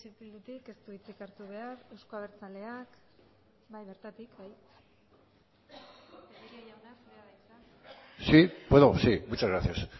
eh bildutik ez du hitzik hartu behar euzko abertzaleak bai bertatik tellería jauna zurea da hitza sí puedo sí muchas gracias